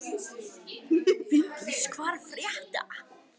Finndís, hvað er að frétta?